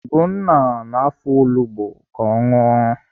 Ugonna na-afọ olugbo ka ọ ṅụọ